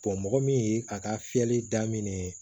mɔgɔ min ye a ka fiyɛli daminɛ